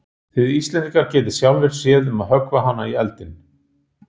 Þið Íslendingar getið sjálfir séð um að höggva hana í eldinn.